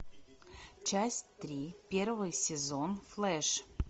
часть три первый сезон флэш